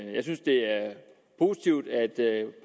positivt at